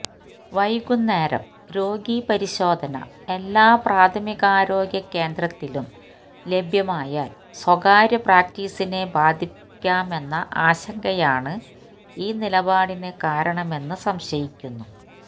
വൈകുന്നേരം രോഗീ പരിശോധന എല്ലാ പ്രാഥമികാരോഗ്യ കേന്ദ്രത്തിലും ലഭ്യമായാൽ സ്വകാര്യ പ്രാക്ടീസിനെ ബാധിക്കാമെന്ന ആശങ്കയാണ് ഈ നിലപാടിന് കാരണമെന്ന് സംശയിക്കുന്നു